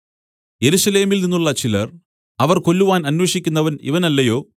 യെരൂശലേമിൽനിന്നുള്ള ചിലർ അവർ കൊല്ലുവാൻ അന്വേഷിക്കുന്നവൻ ഇവൻ അല്ലയോ